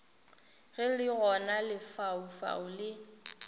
ge le gona lefaufau le